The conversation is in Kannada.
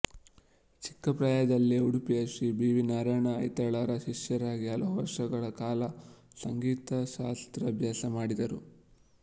ಚಿಕ್ಕ ಪ್ರಾಯದಲ್ಲೇ ಉಡುಪಿಯ ಶ್ರೀ ಬಿ ವಿ ನಾರಾಯಣ ಐತಾಳರ ಶಿಷ್ಯರಾಗಿ ಹಲವು ವರ್ಷಗಳ ಕಾಲ ಸಂಗೀತಶಾಸ್ತ್ರಾಭ್ಯಾಸಮಾಡಿದರು